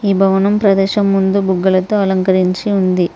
ఈ భవనం ప్రదేశం ముందు బుగ్గలతో అలంకరించి ఉంది.